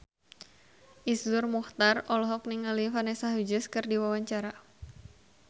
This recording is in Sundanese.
Iszur Muchtar olohok ningali Vanessa Hudgens keur diwawancara